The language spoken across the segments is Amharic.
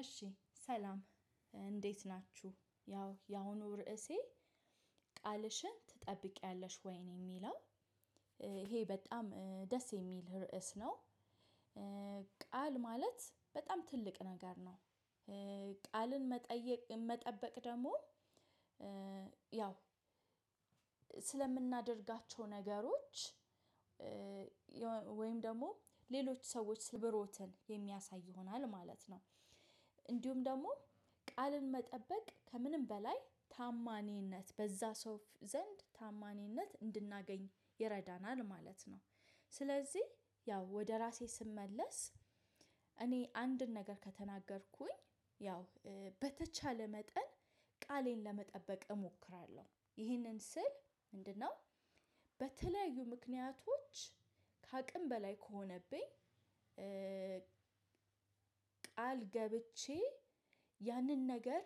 እሺ ሰላም እንዴት ናችሁ ያው የአሁኑ ርዕሴ ቃልሽን ትጠብቂያለሽ ወይ ነው የሚለው? ይሄ በጣም ደስ የሚል ርዕስ ነው። ቃል ማለት በጣም ትልቅ ነገር ነው። ቃልን መጠየቅ መጠበቅ ደግሞ ያው ስለምናደርጋቸው ነገሮች። ወይም ደግሞ ሌሎች ሰዎች ስብሮትን የሚያሳይ ይሆናል ማለት ነው። እንዲሁም ደግሞ ቃልን መጠበቅ ከምንም በላይ ታእማኒነት በዛ ሰው ዘንድ ታእማኒነት እንድናገኝ ይረዳናል ማለት ነው። ስለዚህ ያው ወደ ራሴ ስመለስ እኔ አንድን ነገር ከተናገርኩኝ ያው በተቻለ መጠን ቃሌን ለመጠበቅ እሞክራለሁ። ይህንን ስል ምንድነው? በተለያዩ ምክንያቶች ከአቅም በላይ ከሆነብኝ። ቃል ገብቼ ያንን ነገር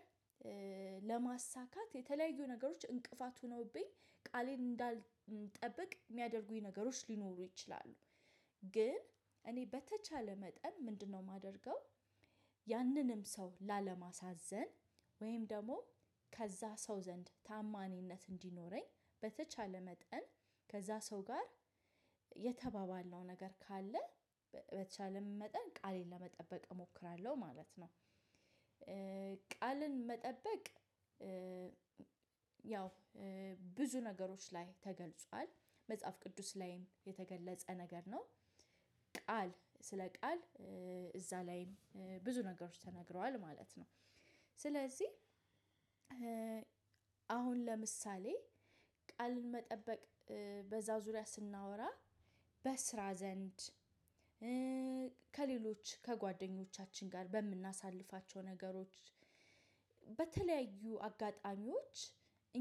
ለማሳካት የተለያዩ ነገሮች እንቅፋት ሆነውብኝ ቃሌን እንዳልጠብቅ የሚያደርጉኝ ነገሮች ሊኖሩ ይችላሉ። ግን እኔ በተቻለ መጠን ምንድነው የማደርገው? ያንንም ሰው ላለማሳዘን ወይም ደግሞ ከዛ ሰው ዘንድ ታእማኒነት እንዲኖረኝ በተቻለ መጠን ከዛ ሰው ጋር የተባባልነው ነገር ካለ በተቻለ መጠን ቃሌን ለመጠበቅ እሞክራለሁ ማለት ነው። ቃልን መጠበቅ። ብዙ ነገሮች ላይ ተገልጿል መጽሐፍ ቅዱስ ላይም የተገለጸ ነገር ነው። ቃል ስለ ቃል እዛ ላይም ብዙ ነገሮች ተነግረዋል ማለት ነው። ስለዚህ አሁን ለምሳሌ ቃል መጠበቅ በዛ ዙሪያ ስናወራ በስራ ዘንድ ከሌሎች ከጓደኞቻችን ጋር በምናሳልፋቸው ነገሮች። በተለያዩ አጋጣሚዎች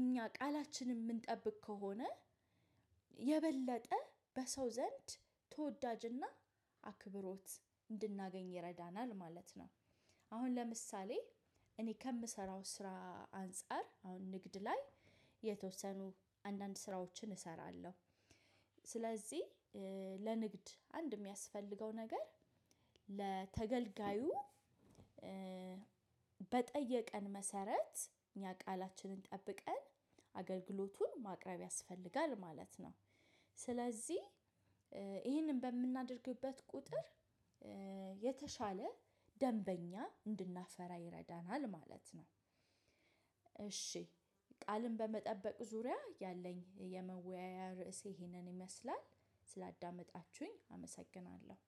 እኛ ቃላችንን ምንጠብቅ ከሆነ የበለጠ በሰው ዘንድ ተወዳጅና አክብሮት እንድናገኝ ይረዳናል ማለት ነው። አሁን ለምሳሌ እኔ ከምሰራው ስራ አንፃር አሁን ንግድ ላይ የተወሰኑ አንዳንድ ስራዎችን እሰራለሁ። ስለዚህ ለንግድ አንድ የሚያስፈልገው ነገር ለተገልጋዩ በጠየቀን መሰረት እኛ ቃላችንን ጠብቀን አገልግሎቱን ማቅረብ ያስፈልጋል ማለት ነው። ስለዚህ ይሄንን በምናደርግበት ቁጥር የተሻለ ደንበኛ እንድናፈራ ይረዳናል ማለት ነው። እሺ ቃልን በመጠበቅ ዙሪያ ያለኝ የመወያያ ርዕሴ ይሄንን ይመስላል። ስላዳመጣችሁኝ አመሰግናለሁ።